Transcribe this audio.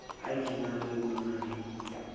iv na ho na le